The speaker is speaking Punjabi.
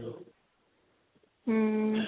ਹਮ